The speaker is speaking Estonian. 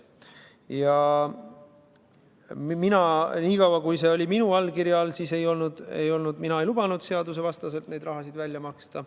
Ja mina, niikaua kui seal oli minu allkiri all, ei lubanud seadusevastaselt seda raha välja maksta.